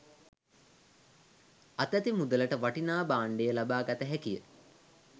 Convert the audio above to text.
අතැති මුදලට වටිනා භාණ්ඩය ලබාගත හැකිය.